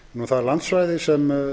það landsvæði sem